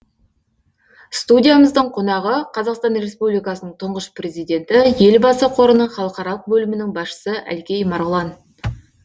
студиямыздың қонағы қазақстан республикасының тұңғыш президенті елбасы қорының халықаралық бөлімінің басшысы әлкей марғұлан